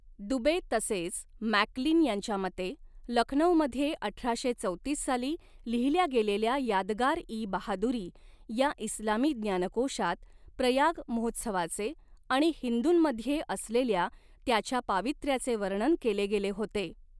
दुबे तसेच मॅकक्लीन यांच्या मते, लखनौमध्ये अठराशे चौतीस साली लिहिल्या गेलेल्या यादगार इ बहादुरी या इस्लामी ज्ञानकोशात, प्रयाग महोत्सवाचे आणि हिंदूंमध्ये असलेल्या त्याच्या पावित्र्याचे वर्णन केले गेले होते.